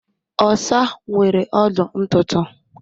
Osa nwere ọdụ ntụ ntụ